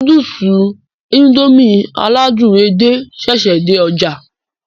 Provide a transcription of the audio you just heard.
Núdùùsì Indomie aládùn edé ṣẹṣẹ dé ọjà